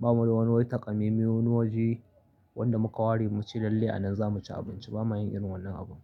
Ba mu da wani wataƙami wani waje wanda muka ware mu ci lalle a nan za mu ci abinci ba ma yin irin wannan abu.